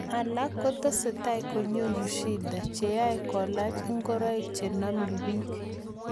alak kotesetai konyoru shida cheai kolach ngoraik chename peek